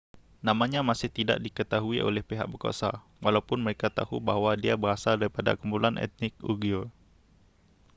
namanya masih tidak diketahui oleh pihak berkuasa walaupun mereka tahu bahawa dia berasal daripada kumpulan etnik uighur